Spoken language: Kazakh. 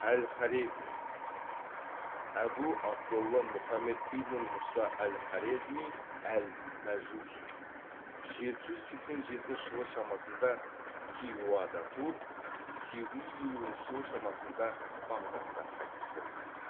әл хорезми әбу абдолла мухаммед ибн мұса әл хорезми әл мәжухи жеті жүз сексен жетінші жылы шамасында хиуада туып сегіз жүз елуінші жылы шамасында бағдатта қайтыс болған